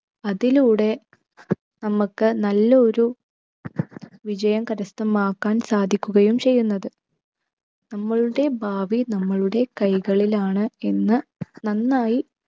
അതിലൂടെ നമ്മക്ക് നല്ല ഒരു വിജയം കരസ്ഥമാക്കാൻ സാധിക്കുകയും ചെയ്യുന്നത്. നമ്മളുടെ ഭാവി നമ്മളുടെ കൈകളിലാണ് എന്ന് നന്നായി